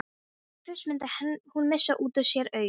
Fyrst mundi hún missa út úr sér augun.